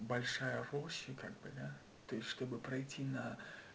большая площадь как бы да то есть чтобы пройти на